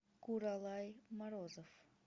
куралай морозов